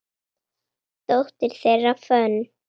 Dóttir þeirra, Fönn